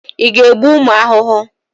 Ị na-egbu ụmụ ahụhụ?